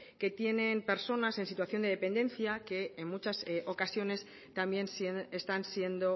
que tienen personas en situación de dependencia que en muchas ocasiones también están siendo